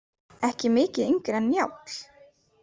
Ekki mikið yngri en Njáll.